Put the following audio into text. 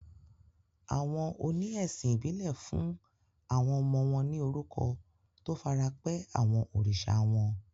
Àwọn oní ẹ̀sìn ìbílẹ̀ fún àwọn ọmọ wọn ní orúkọ tó farapẹ́ àwọn oríṣà wọn.